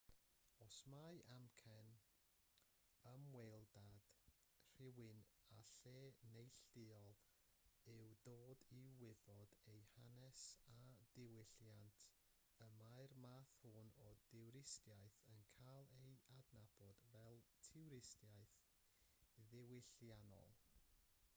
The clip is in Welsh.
os mai amcan ymweliad rhywun â lle neilltuol yw dod i wybod ei hanes a diwylliant yna mae'r math hwn o dwristiaeth yn cael ei adnabod fel twristiaeth ddiwylliannol